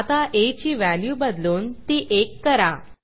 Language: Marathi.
आता आ ची व्हॅल्यू बदलून ती 1 करा